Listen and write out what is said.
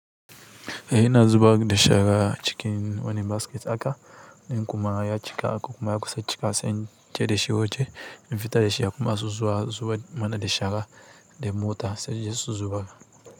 Eh ina zubar da shara cikin wani basket haka, in kuma ya cika kuma ya kusa cika sai tai da shi waje in fita da shi, akwai masu zuwa zubar mana da shara da mota sai suje su zubar.